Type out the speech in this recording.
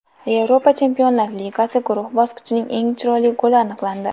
Yevropa Chempionlar Ligasi guruh bosqichining eng chiroyli goli aniqlandi .